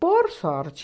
Por sorte,